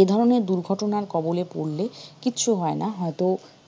এ ধরনের দুর্ঘটনার কবলে পড়লে কিচ্ছু হয় না হয়ত